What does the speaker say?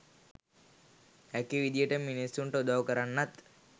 හැකි විදියට මිනිස්සුන්ට උදව් කරන්නත්